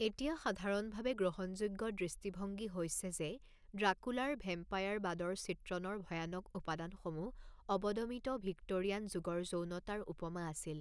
এতিয়া সাধাৰণভাৱে গ্ৰহণযোগ্য দৃষ্টিভংগী হৈছে যে ড্ৰাকুলাৰ ভেম্পায়াৰবাদৰ চিত্ৰণৰ ভয়ানক উপাদানসমূহ অৱদমিত ভিক্টোৰিয়ান যুগৰ যৌনতাৰ উপমা আছিল।